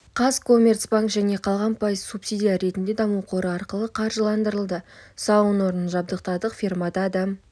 қазкоммерцбанк және қалған пайыз субсидия ретінде даму қоры арқылы қаржыландырылды сауын орнын жабдықтадық фермада адам